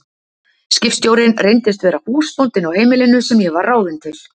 Skipstjórinn reyndist vera húsbóndinn á heimilinu sem ég var ráðin til.